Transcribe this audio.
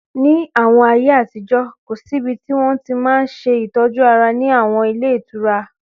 Ní àwọn ayé àtijọ́, kò síbi tí wọ́n ti máa n ṣe ìtọ́jú ara ní àwọn ilé ìtura